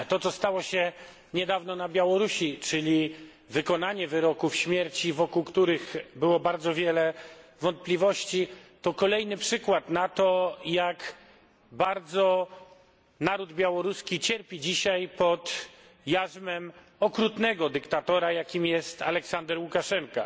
To, co stało się niedawno na Białorusi, czyli wykonanie wyroków śmierci, wokół których było bardzo wiele wątpliwości, to kolejny przykład na to, jak bardzo naród białoruski cierpi dzisiaj pod jarzmem okrutnego dyktatora, jakim jest Aleksander Łukaszenka.